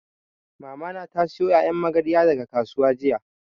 Mamana ta sayo ƴaƴan magarya daga kasuwa jiya